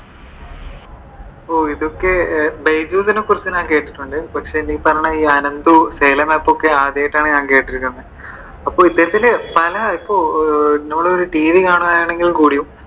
ഓ ഇതൊക്കെ ബൈജൂസിനെ കുറിച്ച് ഞാൻ കേട്ടിട്ടുണ്ട്. പക്ഷെ ഈ പറഞ്ഞ അനന്ദു xylem app ഒക്കെ ആദ്യമായിട്ടാണ് ഞാൻ കേട്ടിരിക്കുന്നത്. അപ്പോ ഇതുപോലത്തെ പല ഇപ്പൊ TV കാണുവാണെങ്കിൽ കൂടിയും